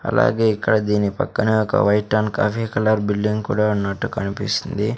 అలాగే ఇక్కడ దీని పక్కన ఒక white and coffee colour building కూడా ఉన్నట్టు కనిపిస్తుంది.